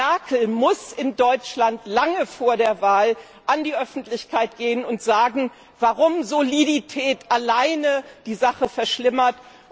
Frau Merkel muss in Deutschland lange vor der Wahl an die Öffentlichkeit gehen und sagen, warum Solidität alleine die Sache verschlimmert.